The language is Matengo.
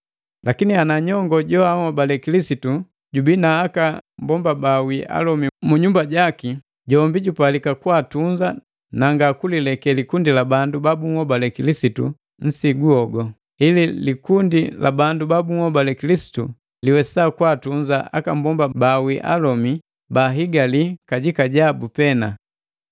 Lakini ana nyongo joanhobale Kilisitu jubii na aka mbomba bawii alomi mu nyumba jaki, jombi jupalika kwaatunza na nga kulileke likundi la bandu babuhobale Kilisitu nsigu hogu, ili likundi la bandu babuhobale Kilisitu liwesa kwaatunza aka mbomba bawii alome bala bahigali kajika jabu pena.